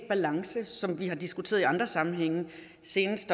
balance som vi har diskuteret i andre sammenhænge senest